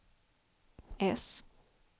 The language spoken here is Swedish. S